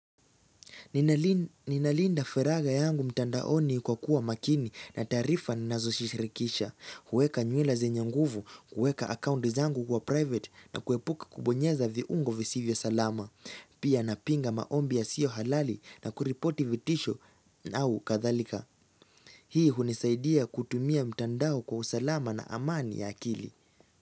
Ninalinda feraga yangu mtandaoni kwa kuwa makini na taarifa na nazojishirikisha kueka nywila zenye nguvu, kuweka akaundi zangu kwa private na kuepuka kubonyeza viungo visivyo salama Pia napinga maombi yasiyo halali na kuripoti vitisho au kathalika Hii hunisaidia kutumia mtandao kwa usalama na amani ya akili.